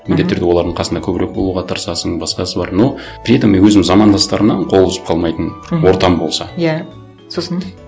міндетті түрде олардың қасына көбірек болуға тырысасың басқасы бар но при этом мен өзім замандастарымнан қол үзіп қалмайтын ортам болса иә сосын